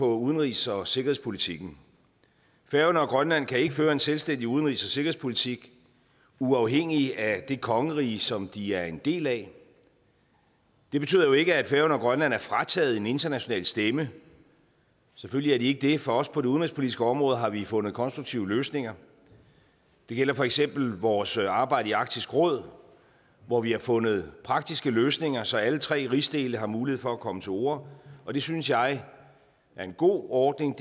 udenrigs og sikkerhedspolitikken færøerne og grønland kan ikke føre en selvstændig udenrigs og sikkerhedspolitik uafhængigt af det kongerige som de er en del af det betyder jo ikke at færøerne og grønland er frataget en international stemme selvfølgelig er de ikke det for også på det udenrigspolitiske område har vi fundet konstruktive løsninger det gælder for eksempel vores arbejde i arktisk råd hvor vi har fundet praktiske løsninger så alle tre rigsdele har mulighed for at komme til orde og det synes jeg er en god ordning